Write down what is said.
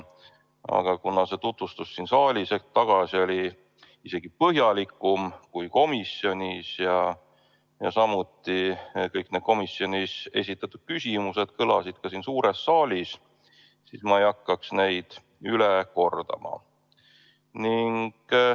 Aga kuna see tutvustus siin saalis hetk tagasi oli isegi põhjalikum kui komisjonis ja samuti kõik need komisjonis esitatud küsimused kõlasid ka siin suures saalis, siis ma ei hakka seda üle kordama.